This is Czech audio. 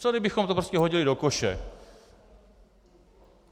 Co kdybychom to prostě hodili do koše?